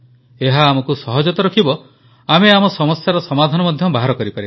ଏହା ଆମକୁ ସହଜ ତ ରଖିବ ଆମେ ଆମ ସମସ୍ୟାର ସମାଧାନ ମଧ୍ୟ ବାହାର କରିପାରିବା